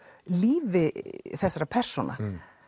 lífi þessara persóna